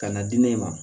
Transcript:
Ka na di ne ma